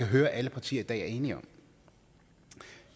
høre alle partier i dag er enige om